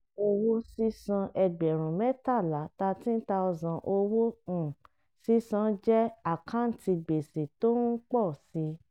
owó sísan ẹgbẹ̀rún mẹ́tàlá (13000) owó um sísan jẹ́ àkáǹtì gbèsè tó ń pọ̀ si.